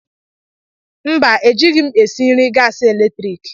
Mba, ejighị m esi nri gaasi eletrik.